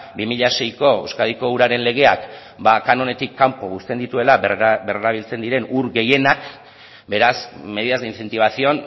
bi mila seiko euskadiko uraren legeak kanonetik kanpo uzten dituela berrerabiltzen diren ur gehienak beraz medidas de incentivación